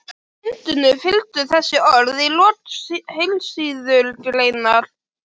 Myndunum fylgdu þessi orð í lok heilsíðugreinar